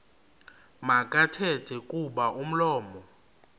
makathethe kuba umlomo